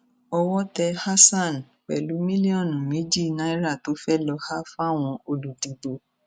owó tẹ hasan pẹlú mílíọnù méjì náírà tó fẹẹ lọọ há fáwọn olùdìbò